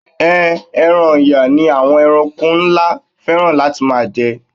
Ehn, ẹran Ọ̀yà ni àwọn ẹranko ńlá fẹ́ràn láti máa jẹ.